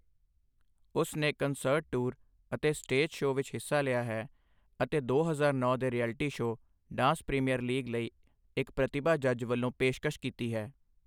ਉਸ ਨੇ concert tour ਅਤੇ ਸਟੇਜ ਸ਼ੋਅ ਵਿੱਚ ਹਿੱਸਾ ਲਿਆ ਹੈ ਅਤੇ ਦੋ ਹਜ਼ਾਰ ਨੌਂ ਦੇ reality show dance premier league ਲਈ ਇੱਕ ਪ੍ਰਤਿਭਾ ਜੱਜ ਵਲੋਂ ਪੇਸ਼ਕਸ਼ ਕੀਤੀ ਹੈ।